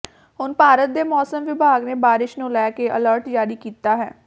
ਹੁਣ ਭਾਰਤ ਦੇ ਮੌਸਮ ਵਿਭਾਗ ਨੇ ਬਾਰਿਸ਼ ਨੂੰ ਲੈ ਕੇ ਅਲਰਟ ਜਾਰੀ ਕੀਤਾ ਹੈ